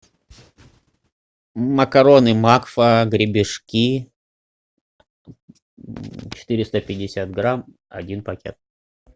макароны макфа гребешки четыреста пятьдесят грамм один пакет